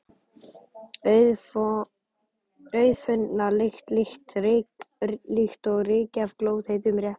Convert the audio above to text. Auðfundna lykt, líkt og ryki af glóðheitum réttum.